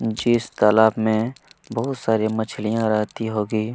जिस तालाब में बहुत सारी मछलियां रहती होगी।